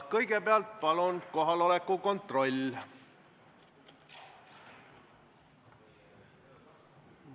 Kõigepealt palun kohaloleku kontroll!